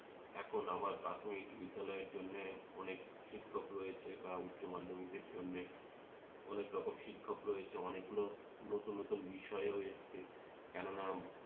এখন আবার প্রাথমিক বিদ্যালয়ের জন্যে অনেক শিক্ষক রয়েছে, বা উচ্চমাধ্যমিকের জন্যে অনেকরকম শিক্ষক রয়েছে, অনেকগুলো নতুন নতুন বিষয় হয়েছে কেননা